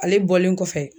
Ale bɔlen kɔfɛ